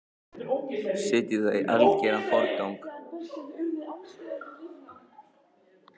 Setjið það í algeran forgang.